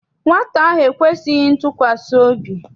Nwata ahụ ekwesịghị ntụkwasị obi.